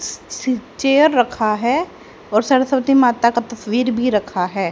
Chair रखा है और सरस्वती माता का तस्वीर भी रखा है।